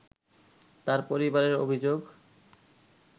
তার পরিবারের অভিযোগ